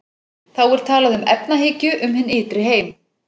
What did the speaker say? Þá er talað um efahyggju um hinn ytri heim.